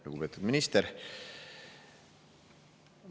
Lugupeetud minister!